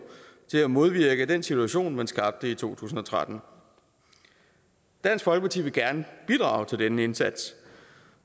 til at modvirke den situation man skabte i to tusind og tretten dansk folkeparti vil gerne bidrage til denne indsats